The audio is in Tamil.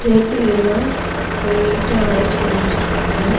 டேபிள் எல்லா ரொம்ப நீட்டா அரேஞ்ச் பண்ணி வச்சிருக்காங்க.